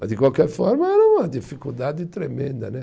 Mas de qualquer forma, era uma dificuldade tremenda né